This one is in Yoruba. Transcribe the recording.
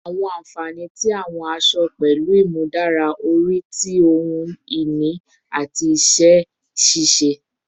Awọn anfani ti awọn aṣọ-aṣọ pẹlu imudara ori ti ohun ini ati iṣẹ-ṣiṣe